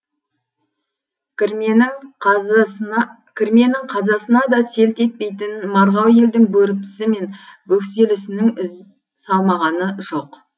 кірменің қазасына да селт етпейтін марғау елдің бөріктісі мен бөкселісінің із салмағаны жоқ